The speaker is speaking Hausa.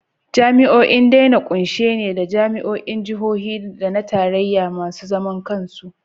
Jami’o’in dai na kunshe ne da jami’o’in Jihohi da na Tarayya da masu zaman kansu.